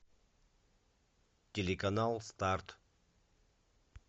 телеканал старт